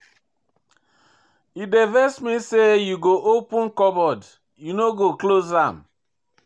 E dey vex me sey you go open cupboard you no go close am.